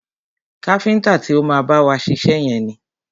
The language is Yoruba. Káfíntà ti o má bá wa ṣiṣẹ́ yẹn ni.